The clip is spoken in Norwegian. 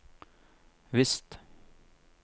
visst